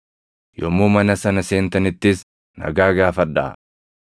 Yommuu mana sana seentanittis nagaa gaafadhaa.